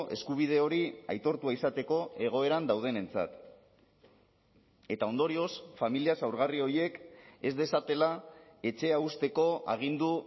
eskubide hori aitortua izateko egoeran daudenentzat eta ondorioz familia zaurgarri horiek ez dezatela etxea uzteko agindu